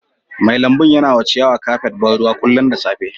Mai lambun ya na wa ciyawan kafet ban ruwa kullum da safe.